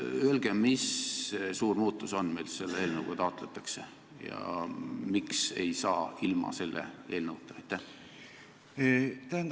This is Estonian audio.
Öelge, mis suur muutus see on, mida selle eelnõuga taotletakse, ja miks me ei saa läbi ilma selle eelnõuta?